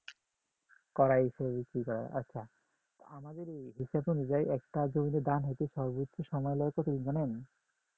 কড়াই আচ্ছা আমাদের হিসাব অনুযায়ী একটা জমিতে দাম হতে কতদিন সময় লাগে জানেন?